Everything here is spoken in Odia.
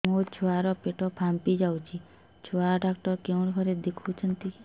ମୋ ଛୁଆ ର ପେଟ ଫାମ୍ପି ଯାଉଛି ଛୁଆ ଡକ୍ଟର କେଉଁ ଘରେ ଦେଖୁ ଛନ୍ତି